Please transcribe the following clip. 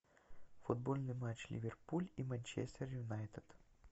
футбольный матч ливерпуль и манчестер юнайтед